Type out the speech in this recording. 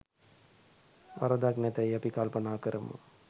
වරදක් නැතැයි අපි කල්පනා කරමු.